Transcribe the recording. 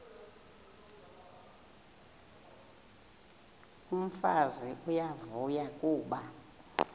umfazi uyavuya kuba